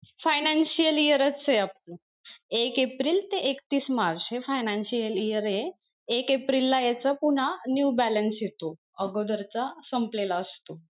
Financial year च एक April ते एकतीस मार्च हे financial year ये एक एप्रिल ला याच पुन्हा new balance येतो अगोदरचा संपलेला असतो.